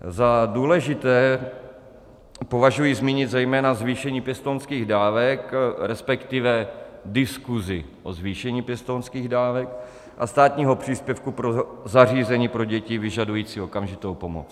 Za důležité považuji zmínit zejména zvýšení pěstounských dávek, respektive diskuzi o zvýšení pěstounských dávek a státního příspěvku pro zařízení pro děti vyžadující okamžitou pomoc.